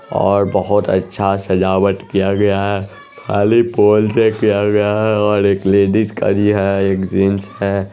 और बोहोत अच्छा सजावट किया गया है खाली पोल पे किया गया है और एक लेडिज खड़ी है एक जेंट्स है।